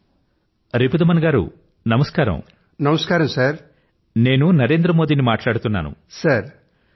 hello Ripudaman గారూ నమస్కారం నేను నరేంద్ర మోదీని మాట్లాడుతున్నాను